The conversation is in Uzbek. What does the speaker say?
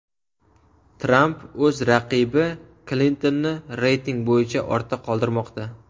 Tramp o‘z raqibi Klintonni reyting bo‘yicha ortda qoldirmoqda.